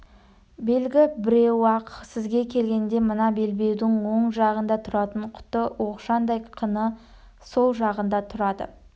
белгі біреу-ақ сізге келгенде мына белбеудің оң жағында тұратын құты оқшантай қыны сол жағында тұрады